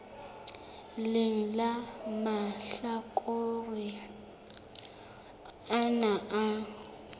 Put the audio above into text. leng la mahlakore ana a